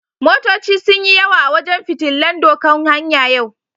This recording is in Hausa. Motoci sun yi yawa a wajen fitillan doƙan hanya yau.